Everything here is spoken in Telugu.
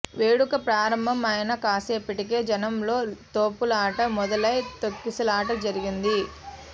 వేడుక ప్రారంభం అయిన కాసేపటికే జనంలో తోపులాట మొదలై తొక్కిసలాట జరిగింది